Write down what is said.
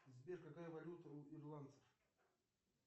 сбер какая валюта у ирландцев